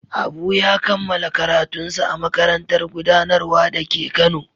Habu ya kammala karatunsa a Makarantar Gudanarwa da ke Kano.